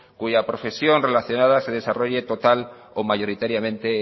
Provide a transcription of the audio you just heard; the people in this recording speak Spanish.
cuya profesión relacionada se desarrolle total o mayoritariamente